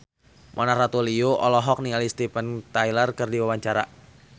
Mona Ratuliu olohok ningali Steven Tyler keur diwawancara